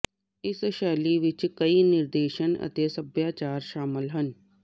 ਇਸ ਸ਼ੈਲੀ ਵਿਚ ਕਈ ਨਿਰਦੇਸ਼ ਅਤੇ ਸਭਿਆਚਾਰ ਸ਼ਾਮਿਲ ਹਨ